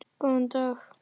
Góðan dag!